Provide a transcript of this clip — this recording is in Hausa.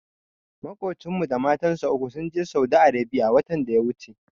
Maƙocinmu da matansa uku sun je Saudi Arebiya watan da ya wuce.